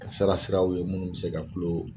Kasara siraw ye munnu bi se ka dulon